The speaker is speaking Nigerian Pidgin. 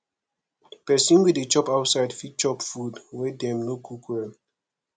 pesin wey dey chop outside fit chop food wey dem no cook well